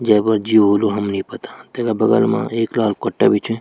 जैमा जी हाेलू हमे नि पता तेका बगल मा एक लाल कट्टा भी च।